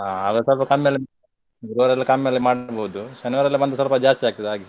ಹಾಗಾದ್ರೆ ಸ್ವಲ್ಪ ಕಮ್ಮಿಯಲ್ಲಿ ಗುರುವಾರ ಎಲ್ಲ ಕಮ್ಮಿಯಲ್ಲಿ ಮಾಡಬೋದು ಶನಿವಾರ ಎಲ್ಲ ಬಂದ್ರೆ ಸ್ವಲ್ಪ ಜಾಸ್ತಿ ಆಗ್ತದೆ ಹಾಗೆ.